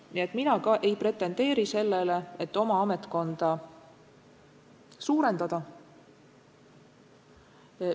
Nii et mina ka ei pretendeeri sellele, et oma ametkonda suurendada.